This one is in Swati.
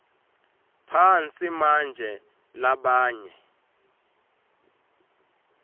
phansi manje labanye